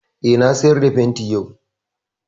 Eh, na sayar da fenti yau